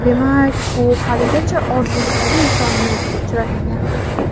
Demak, u haligacha orzusidagi insonni uchratmagan.